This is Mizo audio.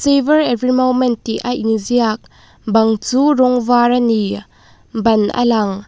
savor every moment tih a inziak bang chu rawng var a ni ban a lang--